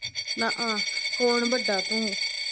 ਨਾ ਆਹ ਕੌਣ ਵੱਡਾ ਤੂੰ?